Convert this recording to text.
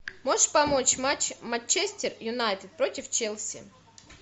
можешь помочь матч манчестер юнайтед против челси